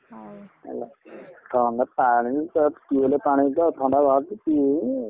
ହଉ ହେଲା ଥଣ୍ଡା ପାଣି ତ tubewell ପାଣି ତ ଥଣ୍ଡା ଧରୁଛି ? ପିଏ।